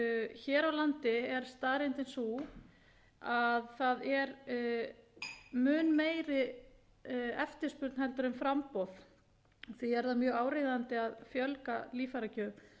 hér á landi er staðreyndin sú að það er mun meiri eftirspurn en framboð og því er það mjög áríðandi að fjölga líffæragjöfum